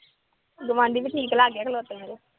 ਗੁਆਂਢੀ ਤਾਂ